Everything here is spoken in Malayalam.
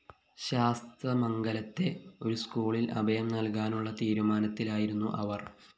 ശാസ്തമംഗലത്തെ ഒരു സ്‌കൂളില്‍ അഭയം നല്‍കാനുള്ള തീരുമാനത്തിലായിരുന്നു അവര്‍